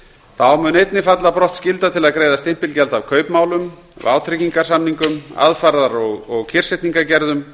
þá mun einnig falla brott skylda til að greiða stimpilgjald af kaupmálum vátryggingarsamningum aðfarar og kyrrsetningargerðum leigusamningum um